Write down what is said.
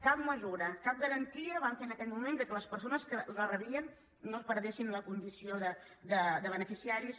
cap mesura cap garantia van fer en aquell moment perquè les persones que la rebien no perdessin la condició de beneficiaris